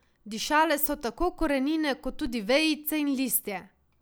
Dišale so tako korenine, kot tudi vejice in listje.